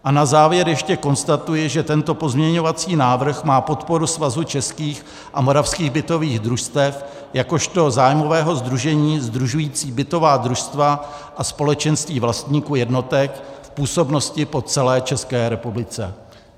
A na závěr ještě konstatuji, že tento pozměňovací návrh má podporu Svazu českých a moravských bytových družstev jakožto zájmového sdružení sdružujícího bytová družstva a společenství vlastníků jednotek v působnosti po celé České republice.